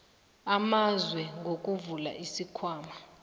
amazwe ngokuvula isikhwama